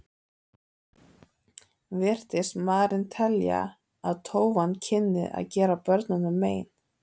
Virtist maðurinn telja að tófan kynni að gera börnunum mein.